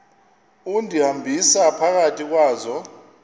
undihambisa phakathi kwazo